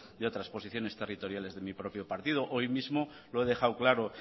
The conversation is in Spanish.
de otras posiciones territoriales de mi propio partido hoy mismo lo he dejado claro